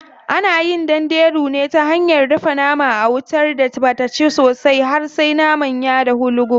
Ana yin danderu ne ta hanyar dafa nama a wutar da bata ci sosai har sai naman ya dahu lugub.